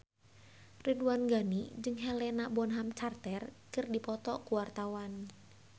Ridwan Ghani jeung Helena Bonham Carter keur dipoto ku wartawan